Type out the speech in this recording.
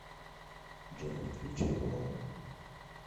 джой включи бум